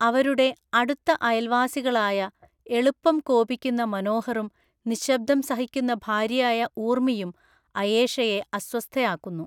അവരുടെ അടുത്ത അയൽവാസികളായ എളുപ്പം കോപിക്കുന്ന മനോഹറും നിശ്ശബ്‌ദം സഹിക്കുന്ന ഭാര്യയായ ഊർമിയും അയേഷയെ അസ്വസ്ഥയാക്കുന്നു.